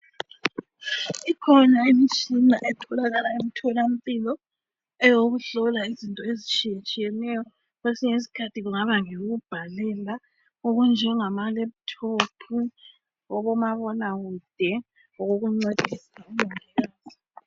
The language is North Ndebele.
Ikhona imitshina etholakala emtholampilo eyokuhlola izinto ezitshiyatshiyeneyo kwesinye iskhathi kungaba lokokubhalela okunjengama lephuthophu okomabonakude okokuncedisa umongikazi.